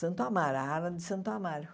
Santo Amaro, a ala de Santo Amaro.